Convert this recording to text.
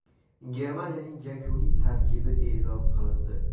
Germaniyaning yakuniy tarkibi e’lon qilindi.